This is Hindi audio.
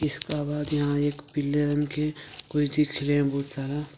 इसका बाद यहां एक पीले रंग की कोई बहुत सारा।